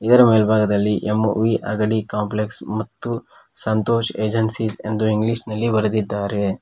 ಇದರ ಮೇಲ್ಬಾಗದಲ್ಲಿ M V Agadi complex ಮತ್ತು ಸಂತೋಷ್ ಏಜೆನ್ಸಿ ಎಂದು ಇಂಗ್ಲಿಷ್ ನಲ್ಲಿ ಬರೆದಿದ್ದಾರೆ.